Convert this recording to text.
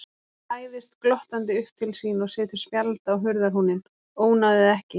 Læðist glottandi upp til sín og setur spjald á hurðarhúninn: Ónáðið ekki!